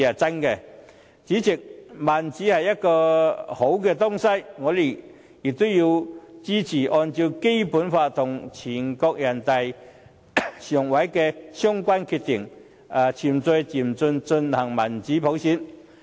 主席，民主是好的東西，我也支持按照《基本法》和人大常委會的相關決定，循序漸進地推動民主普選。